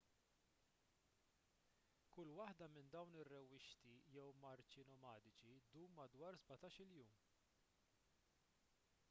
kull waħda minn dawn ir-rewwixti jew marċi nomadiċi ddum madwar 17-il jum